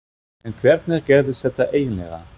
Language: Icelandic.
En hvernig gerðist þetta eiginlega?